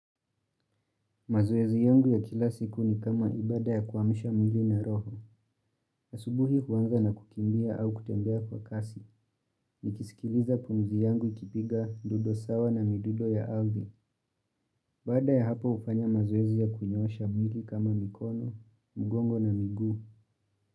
Mazoezi yangu ya kila siku ni kama ibada ya kuamisha mwili na roho. Asubuhi huanza na kukimbia au kutembea kwa kasi, nikisikiliza pumizi yangu ikipiga dudo sawa na midudo ya alvi. Baada ya hapo hufanya mazoezi ya kunyoosha mwili kama mikono, mgongo na miguu.